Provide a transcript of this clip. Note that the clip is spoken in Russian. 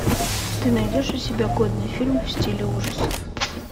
ты найдешь у себя годный фильм в стиле ужасов